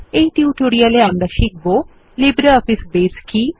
এই টিউটোরিয়ালে শিখব লিব্রিঅফিস কি